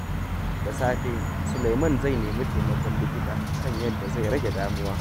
Da safe, Suleiman zai nemi taimakon likita kan yadda zai rage damuwa.